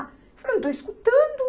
Falei, eu não estou escutando.